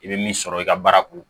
I bɛ min sɔrɔ i ka baara kun